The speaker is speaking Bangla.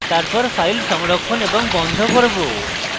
তারপর file সংরক্ষণ এবং বন্ধ করব